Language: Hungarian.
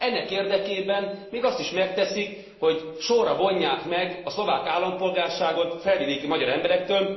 Ennek érdekében még azt is megteszik, hogy sorra vonják meg a szlovák állampolgárságot felvidéki magyar emberektől.